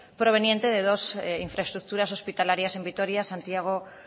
proveniente de dos infraestructuras hospitalarias en vitoria santiago